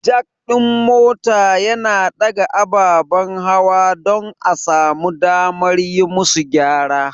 Jack ɗin mota yana ɗaga ababen hawa don a samu damar yi musu gyara.